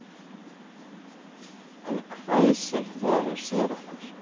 Hann hvæsir þegar hann sér okkur